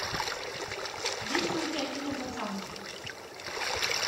есть ли у тебя кино пацанки